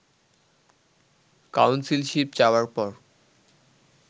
councilship চাওয়ার পর